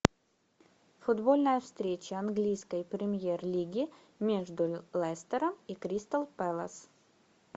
футбольная встреча английской премьер лиги между лестером и кристал пэлас